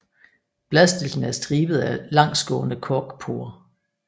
Bladstilkene er stribede af langsgående korkporer